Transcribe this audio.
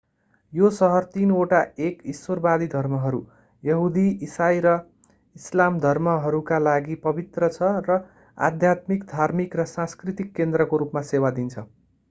यो सहर तिनवटा एक ईश्वरवादी धर्महरू यहुदी इसाई र इस्लाम धर्महरूका लागि पवित्र छ र आध्यात्मिक धार्मिक र सांस्कृतिक केन्द्रको रूपमा सेवा दिन्छ